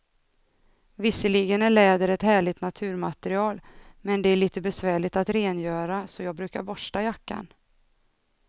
Visserligen är läder ett härligt naturmaterial, men det är lite besvärligt att rengöra, så jag brukar borsta jackan.